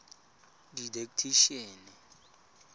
didactician